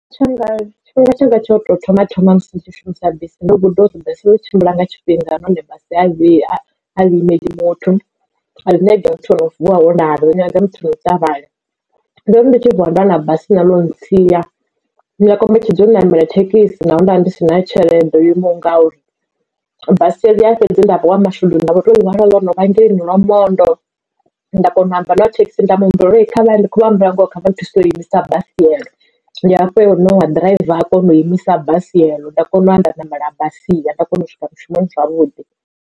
Tshanga tshifhinga tshanga tsha u tou thoma thoma musi ndi tshi shumisa bisi ndo guda uri basi i tshimbila nga tshifhinga nahone basi ai imela muthu. A i nyagi muthu o no vuwa o lala i nyaga muthu wo ṱavhanya, ndori ndi tshi vuwa nda wana bisi nṋe ḽo ntsia nda kombetshedzea u namela thekhisi naho nda ndi si na tshelede yo imaho ngauri basi ḽia fhedzi nda vha wa mashudu nda vho to ḽiwana lono vha hangeini Lwamondo nda kona u amba na wa thekhisi nda muhumbela uri ndi khou vha humbela ngoho kha vha nthuse u imisa basi ndi hafho he uyu noni wa ḓiraiva a kona u imisa basi eḽo nda kona u ya nda ṋamela basi nda kona u swika mushumoni zwavhuḓi.